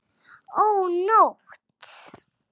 Ó nótt!